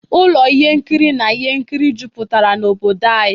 Ụlọ ihe nkiri na ihe nkiri jupụtara n'obodo anyị.